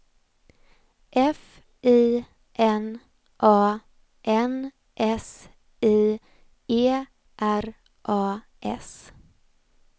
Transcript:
F I N A N S I E R A S